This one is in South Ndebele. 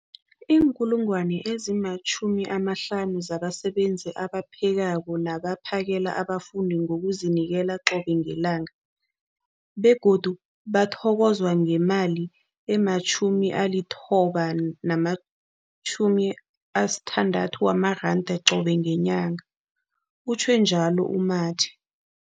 50 000 zabasebenzi abaphekako nabaphakela abafundi ngokuzinikela qobe ngelanga, begodu bathokozwa ngemali ema-960 wamaranda qobe ngenyanga, utjhwe njalo u-Mathe.